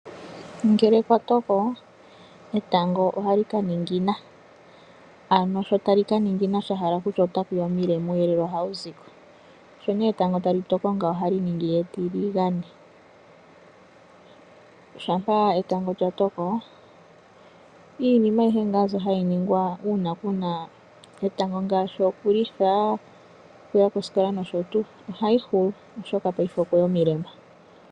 Ngele kwa toko etango ohali ka ningina, ano sho tali ka ningina sha hala okutya otaku ya omilema, uuyelele ohawu zi ko. Sho nduno etango tali toko ngawo ohali ningi etiligane. Shampa etango lya toko iinima ayihe mbyoka hayi ningwa uuna ku na etango ngaashi okulitha, okuya kosikola nosho tuu ohayi hulu, oshoka okwe ya omilema.